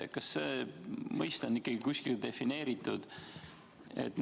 Kas see mõiste on kuskil defineeritud?